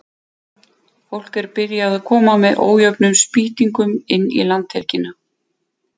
Fólk er byrjað að koma með ójöfnum spýtingum inn í landhelgina.